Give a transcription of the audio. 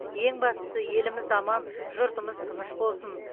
ең бастысы еліміз аман жұртымыз тыныш болсын